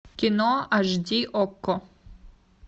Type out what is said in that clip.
кино аш ди окко